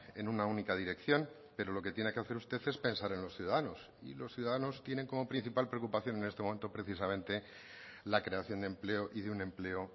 en una única dirección pero lo que tiene que hacer usted es pensar en los ciudadanos y los ciudadanos tienen como principal preocupación en este momento precisamente la creación de empleo y de un empleo